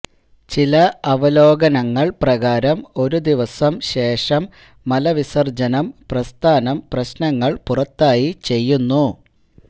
ചില അവലോകനങ്ങൾ പ്രകാരം ഒരു ദിവസം ശേഷം മലവിസർജ്ജനം പ്രസ്ഥാനം പ്രശ്നങ്ങൾ പുറത്തായി ചെയ്യുന്നു